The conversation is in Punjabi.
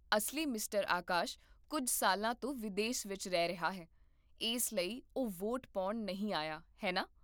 ਅਸਲੀ ਮਿਸਟਰ ਆਕਾਸ਼ ਕੁੱਝ ਸਾਲਾਂ ਤੋਂ ਵਿਦੇਸ ਵਿਚ ਰਹਿ ਰਿਹਾ ਹੈ, ਇਸ ਲਈ ਉਹ ਵੋਟ ਪਾਉਣ ਨਹੀਂ ਆਇਆ, ਹੈ ਨਾ?